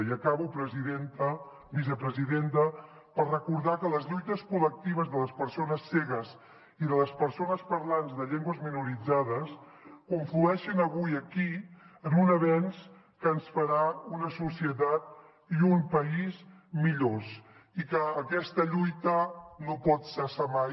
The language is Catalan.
i acabo vicepresidenta per recordar que les lluites col·lectives de les persones cegues i de les persones parlants de llengües minoritzades conflueixen avui aquí en un avenç que ens farà una societat i un país millors i que aquesta lluita no pot cessar mai